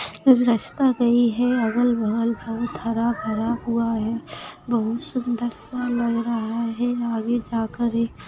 कुछ रास्ता गयी है अगल बगल का बहुत हरा भरा हुआ है बहुत सुन्दर सा लग रहा है आगे जा कर एक--